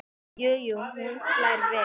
Jú jú, hún slær vel!